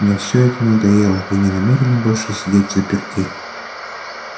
мне всё это надоело я не намерена больше сидеть взаперти